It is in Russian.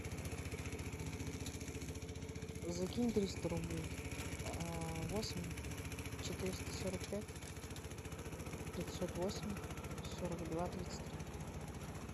закинь триста рублей восемь четыреста сорок пять пятьсот восемь сорок два тридцать три